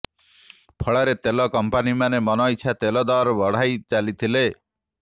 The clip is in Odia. ଫଳରେ ତେଲ କଂପାନୀମାନେ ମନଇଚ୍ଛା ତେଲ ଦର ବଢାଇ ଚାଲିଥିଲେ